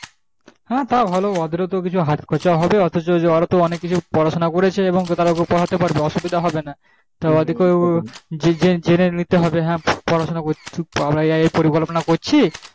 হ্যাঁ তাও ভালো ওদের তো হাত খরচা হবে পড়া শুনা করেছে এবং তারা পড়াতে পারবে কোনো অসুবিধা হবে না তো অদি কে জেনে নিতে হবে আমরা এই এই পরি কল্পনা করছি